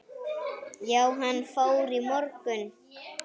Já, hann fór í morgun